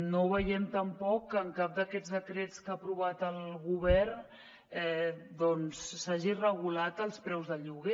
no veiem tampoc que en cap d’aquests decrets que ha aprovat el govern doncs s’hagin regulat els preus de lloguer